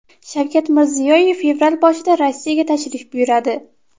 Shavkat Mirziyoyev fevral boshida Rossiyaga tashrif buyuradi.